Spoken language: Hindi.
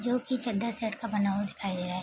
जो की चद्दर सेट का बना हुआ दिखाई दे रहा है।